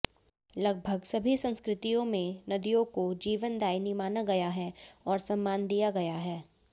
लगभग सभी संस्कृतियों में नदियों को जीवनदायिनी माना गया है और सम्मान दिया गया है